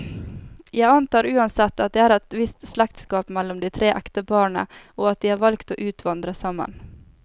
Jeg antar uansett, at det er et visst slektskap mellom de tre ekteparene, og at de har valgt å utvandre sammen.